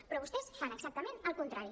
però vostès fan exactament el contrari